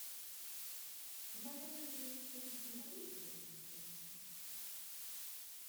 в моем номере нет фена не могли бы вы его принести